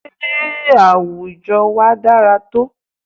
Sé àwùjọ wa dára tó?